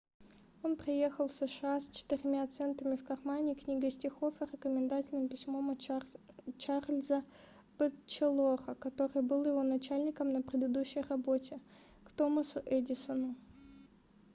он приехал в сша с четырьмя центами в кармане книгой стихов и рекомендательным письмом от чарльза бэтчелора который был его начальником на предыдущей работе к томасу эдисону